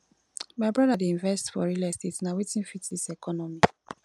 my broda dey invest for real estate na wetin fit dis economy